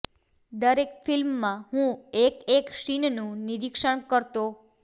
દરેક ફિલ્મમાં હું એક એક સીનનું નિરીક્ષણ કરતો